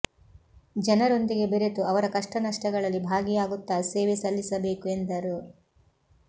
ಜನರೊಂದಿಗೆ ಬೆರೆತು ಅವರ ಕಷ್ಟ ನಷ್ಟಗಳಲ್ಲಿ ಭಾಗಿಯಾಗುತ್ತಾ ಸೇವೆ ಸಲ್ಲಿಸಬೇಕು ಎಂದರು